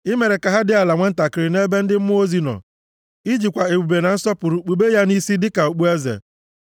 I mere ka ha + 8:5 Maọbụ, ya dị ala nwantakịrị nʼebe ndị mmụọ ozi + 8:5 Maọbụ, Chineke nọ, I jikwa ebube na nsọpụrụ kpube ya nʼisi dịka okpueze.